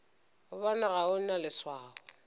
gobane ga o na leswao